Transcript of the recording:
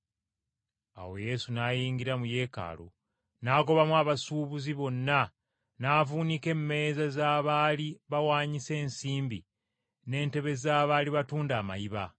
Awo Yesu n’ayingira mu Yeekaalu n’agobamu abasuubuzi bonna n’avuunika emmeeza z’abaali bawaanyisa ensimbi n’entebe z’abaali batunda amayiba.